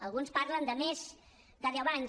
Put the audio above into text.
alguns parlen de més de deu anys